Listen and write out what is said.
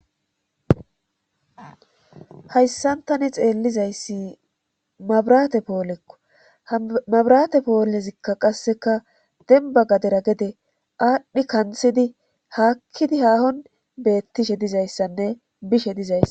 hayssantani xeellizayssi mabrate poolekko hmabrate poolezikka qasseka demba gadera gede aadhdhi kanthidi haakkidi haahon beettishe dizayssanne bishe dizayssa